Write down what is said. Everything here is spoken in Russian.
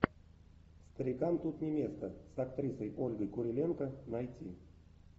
старикам тут не место с актрисой ольгой куриленко найти